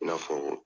I n'a fɔ